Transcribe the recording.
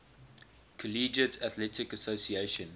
collegiate athletic association